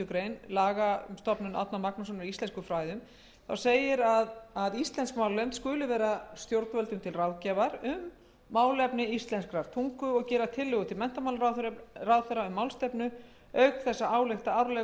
grein laga stofnun árna magnússonar í íslenskum fræðum á um að íslensk málnefnd skuli vera stjórnvöldum til ráðgjafar um málefni íslenskrar tungu og gera tillögur til menntamálaráðherra um málstefnu auk þess að álykta árlega um stöðu